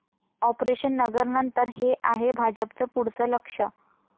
operation 'Nagar' नंतर हे आहे भाजपचं पुढचं लक्ष्य